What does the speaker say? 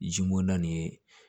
Zimondan nin ye